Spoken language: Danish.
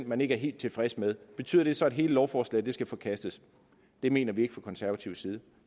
man ikke helt tilfreds med betyder det så at hele lovforslaget skal forkastes det mener vi ikke fra konservativ side